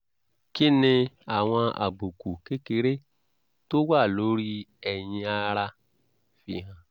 kí ni àwọn àbùkù kékeré tó wà lórí ẹyin ara fi hàn?